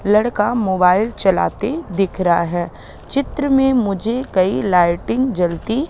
लड़का मोबाइल चलाते दिख रहा है चित्र में मुझे कई लाइटिंग जलती--